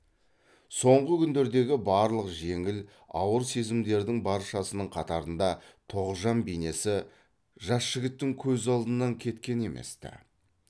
соңғы күндердегі барлық жеңіл ауыр сезімдердің баршасының қатарында тоғжан бейнесі жас жігіттің көз алдынан кеткен емес ті